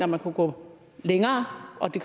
man kunne gå længere og det